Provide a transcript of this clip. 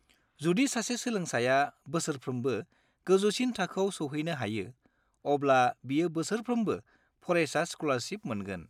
जुदि सासे सोलोंसाया बोसोरफ्रोमबो गोजौसिन थाखोआव सौहैनो हायो, अब्ला बियो बोसोरफ्रोमबो फरायसा स्क'लारशिप मोनगोन।